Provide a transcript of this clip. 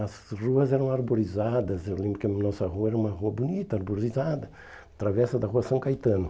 As ruas eram arborizadas, eu lembro que a nossa rua era uma rua bonita, arborizada, travessa da rua São Caetano.